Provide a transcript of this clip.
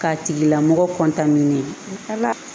K'a tigila mɔgɔ